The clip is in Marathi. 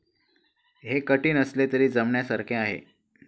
हे कठीण असले तरी जमण्यासारखे आहे.